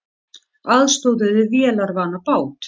Aðstoðuðu vélarvana bát